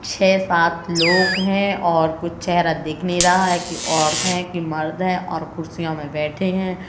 छे सात लोग हैं और कुछ चेहरा दिख नहीं रहा हैं औरत है कि मर्द है और कुर्सियों में बैठे हैं।